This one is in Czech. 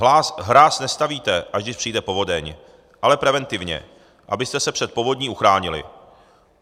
Hráz nestavíte, až když přijde povodeň, ale preventivně, abyste se před povodní uchránili.